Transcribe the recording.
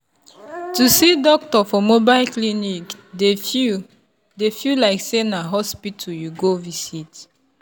to see doctor for mobile clinic dey feel dey feel like say na hospital you go visit.